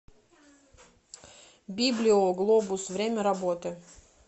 библио глобус время работы